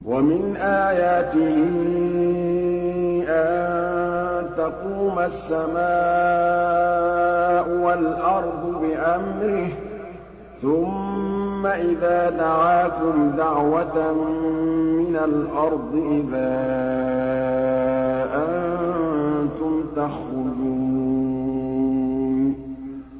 وَمِنْ آيَاتِهِ أَن تَقُومَ السَّمَاءُ وَالْأَرْضُ بِأَمْرِهِ ۚ ثُمَّ إِذَا دَعَاكُمْ دَعْوَةً مِّنَ الْأَرْضِ إِذَا أَنتُمْ تَخْرُجُونَ